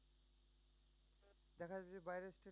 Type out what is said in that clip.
দেখা যাচ্ছে বাইরে